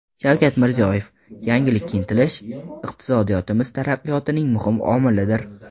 Shavkat Mirziyoyev: Yangilikka intilish iqtisodiyotimiz taraqqiyotining muhim omilidir.